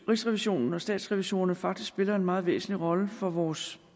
rigsrevisionen og statsrevisorerne faktisk spiller en meget væsentlig rolle for vores